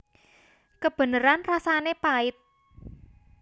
Kebeneran rasané pait